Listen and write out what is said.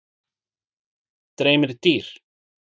Dreymir dýr?